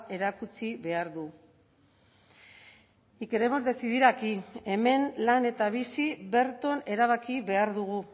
erakutsi behar du y queremos decidir aquí hemen lan eta bizi berton erabaki behar dugu